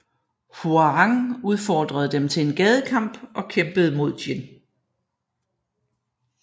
Hwoarang udfordrede dem til en gadekamp og kæmpede mod Jin